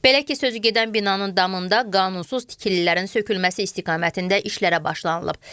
Belə ki, sözügedən binanın damında qanunsuz tikililərin sökülməsi istiqamətində işlərə başlanılıb.